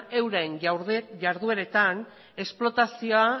euren jardueretan esplotazioa